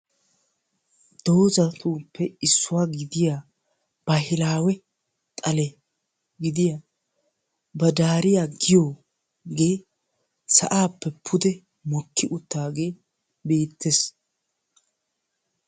Doozatuppe issuwaa gidiyaa baahilawe xale gidiyaa baddariyaa giyoogee sa'aappe pude mokki uttagee beettes.